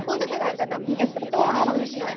പൊതുഗതാഗതം എത്രത്തോളം നമുക്ക്